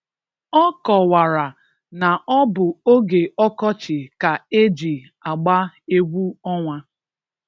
Ọ kọwara na ọ bụ oge ọkọchị ka e ji agba egwu ọnwa.